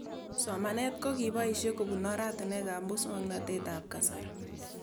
Somanet ko kipoishe kopun oratinwek ab muswog'natet ab kasari